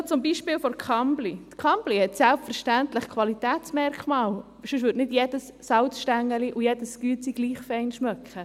Noch zum Beispiel der Kambly: Die Kambly hat selbstverständlich Qualitätsmerkmale, sonst würde nicht jedes Salzstängeli und jedes Biskuit gleich gut schmecken.